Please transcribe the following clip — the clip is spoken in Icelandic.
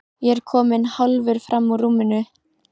Ég er kominn hálfur fram úr rúminu.